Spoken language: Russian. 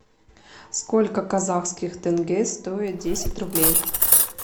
сколько казахских тенге стоит десять рублей